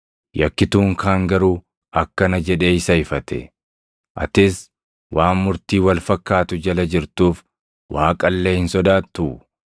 Yakkituun kaan garuu akkana jedhee isa ifate; “Atis waan murtii wal fakkaatu jala jirtuuf, Waaqa illee hin sodaattuu?